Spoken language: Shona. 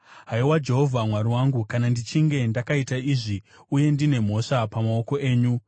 Haiwa Jehovha, Mwari wangu, kana ndichinge ndakaita izvi uye ndine mhosva pamaoko angu,